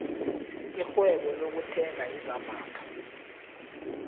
irhwebo lokuthenga izambatho